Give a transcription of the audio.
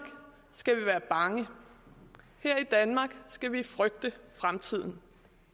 skal vi være bange her i danmark skal vi frygte fremtiden